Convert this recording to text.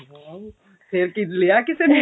wow ਫੇਰ ਕੀ ਲਿਆ ਕਿਸੀ ਨੇ